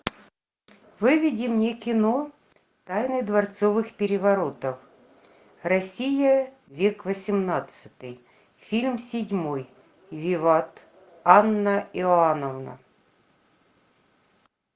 выведи мне кино тайны дворцовых переворотов россия век восемнадцатый фильм седьмой виват анна иоановна